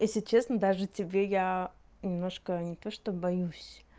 если честно даже тебе я немножко не то что боюсь